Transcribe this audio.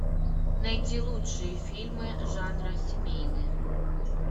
найти лучшие фильмы жанра семейные